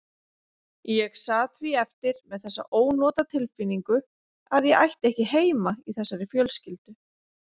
Ég sat því eftir með þessa ónotatilfinningu að ég ætti ekki heima í þessari fjölskyldu.